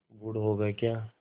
गुड़ होगा क्या